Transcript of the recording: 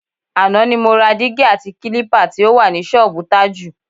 Àná ni mo ra dígí àti kílípà tí ó wà ní s̩ó̩ò̩bù Tájù.